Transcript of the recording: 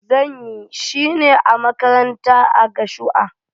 Zan yi shine a makaranta a gashua.